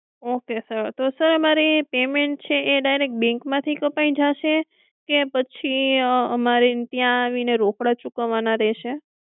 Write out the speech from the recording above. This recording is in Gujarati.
okay sir તો અમારે એ payment છે એ direct bank માંથી કપાઈ જાશે કે પછી અમારે ત્યાં આવીને રોકડા ચૂકવવાના રહેશે?